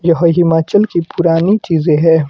यह हिमाचल की पुरानी चीजें हैं।